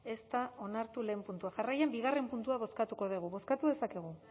ez da onartu lehen puntua jarraian bigarren puntua bozkatu dugu bozkatu dezakegu